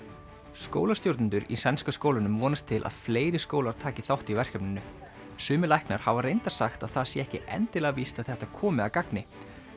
skólastjórnendur í sænska skólanum vonast til að fleiri skólar taki þátt í verkefninu sumir læknar hafa reyndar sagt að það sé ekki endilega víst að þetta komi að gagni